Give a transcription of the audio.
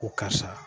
Ko karisa